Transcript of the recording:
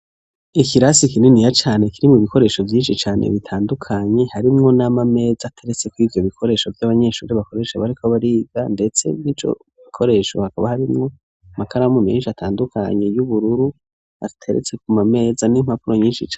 Ikirasi kinini ya cane kiri mu bikoresho vyinshi cane bitandukanye hari mwo n'amameza ateretse kwivyo bikoresho by'abanyeshuri bakoresha bariko abariga ndetse n'ico bikoresho hakaba hari mwo makaramu menshi atandukanye y'ubururu ateretse ku mameza n'impapuro nyinsi cane.